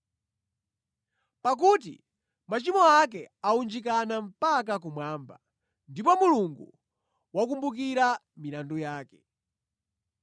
pakuti machimo ake awunjikana mpaka kumwamba, ndipo Mulungu wakumbukira milandu yake.